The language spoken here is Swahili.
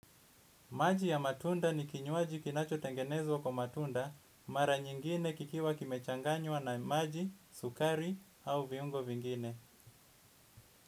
Maji ya matunda ni kinywaji kinachotengenezwa kwa matunda mara nyingine kikiwa kimechanganywa na maji sukari au viungo vingine.